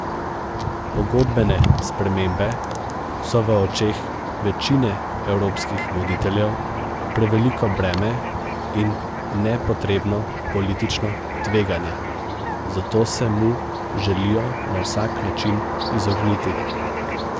Pogodbene spremembe so v očeh večine evropskih voditeljev preveliko breme in nepotrebno politično tveganje, zato se mu želijo na vsak način izogniti.